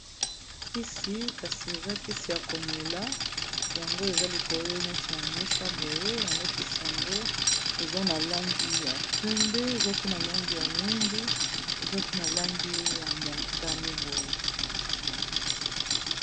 kisi kasi eza kisi ya komela yango eza likole neti ya mesa boye yango kisi yango eza na langi ya pembe eza pe na langi ya mwindu eza mpe na langi ya motane boye